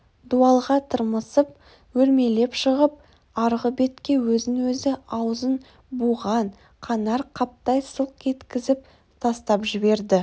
дуалға тырмысып өрмелеп шығып арғы бетке өзін-өзі аузын буған қанар қаптай сылқ еткізіп тастап жіберді